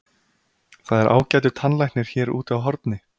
Það er ágætur tannlæknir hér úti á horni.